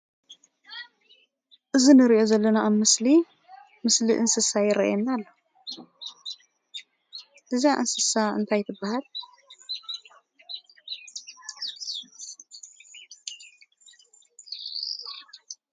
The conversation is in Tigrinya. እዚ ንሪኦ ዘለና አብ ምስሊ ምስሊ እንስሳ ይረአየና አሎ። እዛ እንስሳ እንታይ ትበሃል?